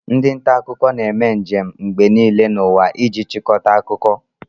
Ndị nta akụkọ na-eme njem mgbe niile n'ụwa iji chịkọta akụkọ